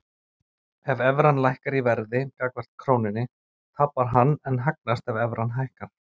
Ef evran lækkar í verði gagnvart krónunni tapar hann en hagnast ef evran hækkar.